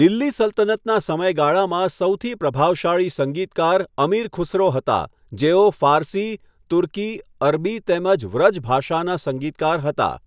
દિલ્હી સલ્તનતનાં સમયગાળામાં સૌથી પ્રભાવશાળી સંગીતકાર અમીર ખુસરો હતા, જેઓ ફારસી, તુર્કી, અરબી તેમજ વ્રજ ભાષાના સંગીતકાર હતા.